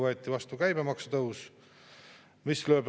Tõepoolest, eelarvesse on pandud, et 3% läheb riigikaitsekuludeks.